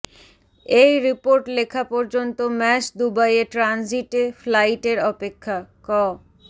এই রিপোর্ট লেখা পর্যন্ত ম্যাশ দুবাইয়ে ট্রানজিটে ফ্লাইটের অপেক্ষা ক